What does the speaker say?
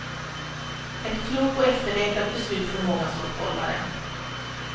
Ett klokt och efterlängtat beslut för många stockholmare.